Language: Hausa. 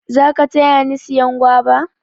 za ka taya ni siyan guava?